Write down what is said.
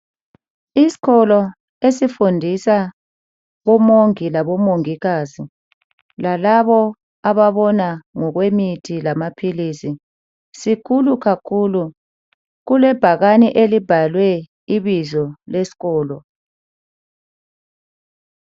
Isikolo esifundisa omongi labomongikazi lalabo ababona ngokwemithi lamaphilisi sikhulu kakhulu. Kulebhakane elibhalwe ibizo lesikolo.